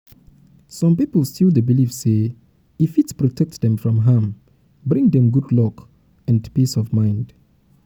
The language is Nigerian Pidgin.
some people still dey believe say e fit protect dem from harm bring dem dem good luck and um peace of mind.